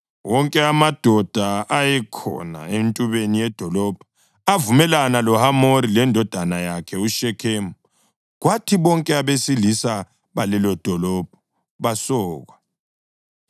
Wonke amadoda ayekhona entubeni yedolobho avumelana loHamori lendodana yakhe uShekhemu, kwathi bonke abesilisa balelodolobho basokwa.